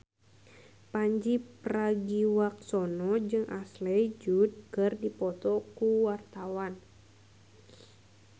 Pandji Pragiwaksono jeung Ashley Judd keur dipoto ku wartawan